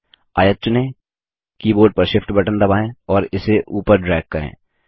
आयत चुनें कीबोर्ड पर Shift बटन दबाएँ और इसे ऊपर ड्रैग करें